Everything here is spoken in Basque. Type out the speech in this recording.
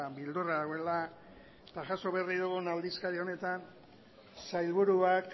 beldurra dagoela eta jaso berri dugun aldizkari honetan sailburuak